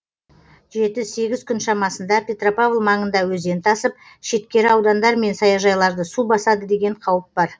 жеті сегіз күн шамасында петропавл маңында өзен тасып шеткері аудандар мен саяжайларды су басады деген қауіп бар